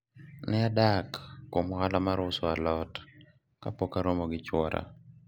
ne adak kuom ohala mar uso alot kapok aromo gi chuora